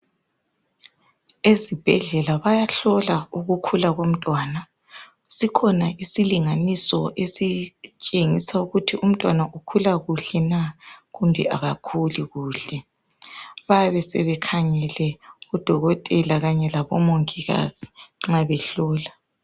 Ezibhedlela bayahlola ukukhula komntwana. Sikhona isilinganiso esitshengisa ukuthi umntwana ukhula kuhle na kumbe akakhuli kuhle. Bayabe sebekhangele odokotela kanye labomongikazi nxa behlola.